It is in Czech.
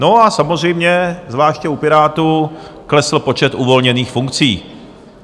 No a samozřejmě zvláště u Pirátů klesl počet uvolněných funkcí.